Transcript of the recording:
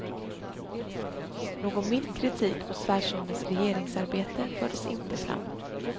Någon mild kritik mot svärsonens regeringsarbete fördes inte fram.